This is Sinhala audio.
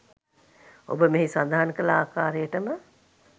ඔබ මෙහි සඳහන් කල ආකාරයටම